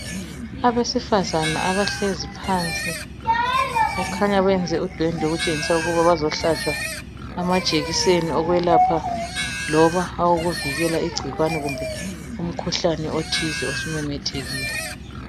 Abasefazana abahlezi phansi kukhanya bayenze udwendwe okutshengisa ukuba bazohlatshwa amajekiseni okwelapha loba awokuvikela igcikwane kumbe umkhuhlane othize osumemethekile.